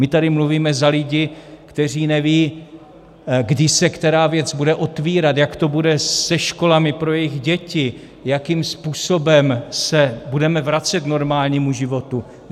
My tady mluvíme za lidi, kteří nevědí, kdy se která věc bude otvírat, jak to bude se školami pro jejich děti, jakým způsobem se budeme vracet k normálnímu životu.